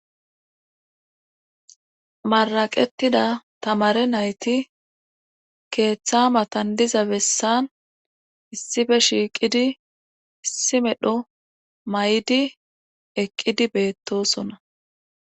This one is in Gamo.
Maraqettida tamare nayti keeththa matan diza bessan issife shiiqidi issi medho may7di eqqidi beettosona.